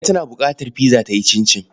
Kande tana buƙatar pizza ta yi cincin.